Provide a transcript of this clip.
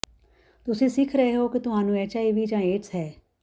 ਤੁਸੀਂ ਸਿੱਖ ਰਹੇ ਹੋ ਕਿ ਤੁਹਾਨੂੰ ਐਚਆਈਵੀ ਜਾਂ ਏਡਜ਼ ਹੈ